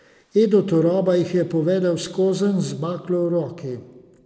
Edo Turoba jih je povedel skozenj z baklo v roki.